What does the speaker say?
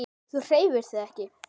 Þú hreyfir þig ekki.